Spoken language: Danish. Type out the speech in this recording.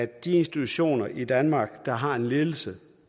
de institutioner i danmark der har en ledelse